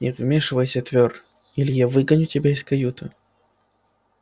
не вмешивайся твёр или я выгоню тебя из каюты